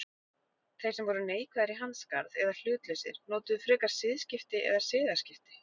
Þeir sem voru neikvæðir í hans garð eða hlutlausir notuðu frekar siðskipti eða siðaskipti.